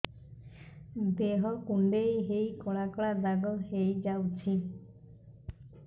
ଦେହ କୁଣ୍ଡେଇ ହେଇ କଳା କଳା ଦାଗ ହେଇଯାଉଛି